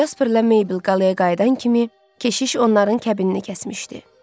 Casperlə Meybl qaləyə qayıdan kimi keşiş onların kəbinini kəsmişdi.